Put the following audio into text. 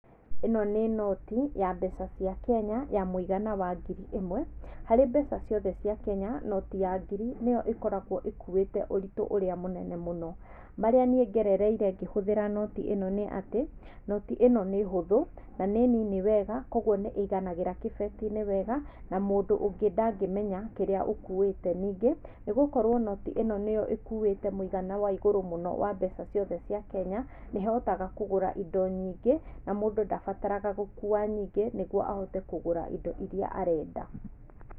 Ĩno nĩ noti ya mbeca cia Kenya ya mũigana wa ngiri ĩmwe harĩ mbeca ciothe cia Kenya noti ya ngiri nĩyo ĩkoragwo ĩkuĩte ũritũ ũrĩa mũnene mũno marĩa niĩ ngerereire ngĩhũthĩra noti ĩno nĩ atĩ noti ĩno nĩ hũthu na nĩ nini wega kwoguo nĩiganagĩra kĩbetinĩ wega na mũndũ ũngĩ ndangĩmenya kĩrĩa ũkuĩte ningĩ nĩgũkorwo noti ĩno nĩyo nĩkuĩte mũigana wa igũrũ mũno wa mbeca ciothe cia Kenya nĩhotaga kũgũra indo nyingĩ na mũndũ ndabataraga gũkua nyingĩ nĩguo ahote kũgũra indo iria arenda.